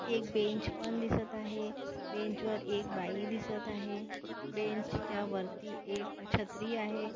एक बेंच पण दिसत आहे बेंच वर एक बाई दिसत आहे बेंचच्या वरती एक छत्री आहे.